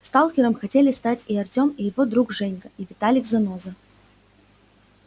сталкером хотели стать и артём и его друг женька и виталик-заноза